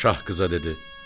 Şah qıza dedi: